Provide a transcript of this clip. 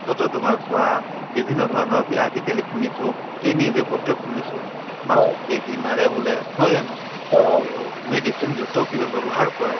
মাছতে তোমাৰ চোৱা বিভিন্ন ধৰণৰ কি আজিকালি শুনিছো এই news য়ে পত্ৰই শুনিছো মাছত বেজি মাৰে বোলে নহয় জানো to medicine যুক্তও কিবা ব্যৱহাৰ কৰে